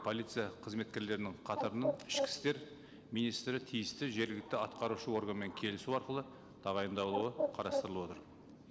полиция қызметкерлерінің қатарынан ішкі істер министрі тиісті жергілікті атқарушы органмен келісу арқылы тағайындалуы қарастырылып отыр